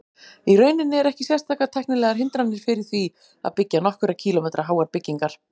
Í rauninni eru ekki sérstakar tæknilegar hindranir fyrir því að byggja nokkurra kílómetra háar byggingar.